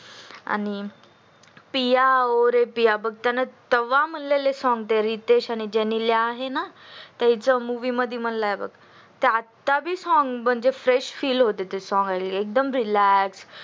आणि पिया ओ रे पिया बघ त्यांनी तेव्हा म्हणलेले song ते आणि जणीला आहे ना त्याच्या मूवी मध्ये म्हणला आहे बघ ते आत्ता बि song म्हणजे fresh feel होतय एकदम relax